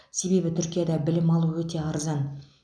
себебі түркияда білім алу өте арзан